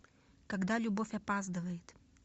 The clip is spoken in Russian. когда любовь опаздывает